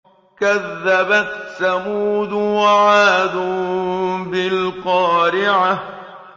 كَذَّبَتْ ثَمُودُ وَعَادٌ بِالْقَارِعَةِ